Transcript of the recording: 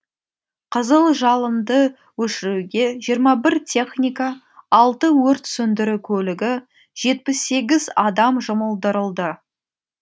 қызыл жалынды өшіруге жиырма бір техника алты өрт сөндіру көлігі жетпіс сегіз адам жұмылдырылды